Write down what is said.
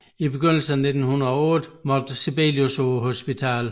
I begyndelsen af 1908 måtte Sibelius på hospitalet